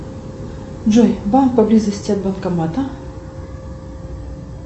джой банк поблизости от банкомата